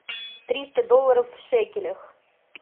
триста долларов в шекелях